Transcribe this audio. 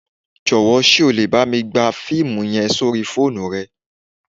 Jọ́wọ̀ sé o le bámi gba fiimu yen sórí fóònù rẹ